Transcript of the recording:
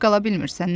Tək qala bilmirsən?